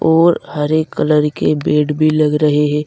और हरे कलर के बेड भी लग रहे हैं।